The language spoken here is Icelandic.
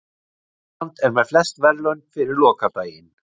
Ísland með flest verðlaun fyrir lokadaginn